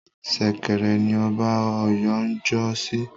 Ṣẹ̀kẹ̀rẹ̀ ni Ọba Ọ̀yọ́ ń jọ́ sí